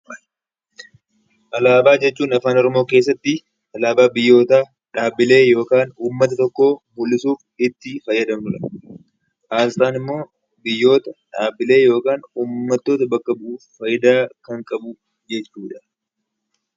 Alaabaa jechuun Afaan Oromoo keessatti alaabaa biyyootaa yookaan uummata tokko mul'isuuf itti fayyadamnu dha. Asxaan immoo biyyoota, dhaabbilee yookaan uummattoota bakka bu'uuf faayidaa kan qabu jechuu dha.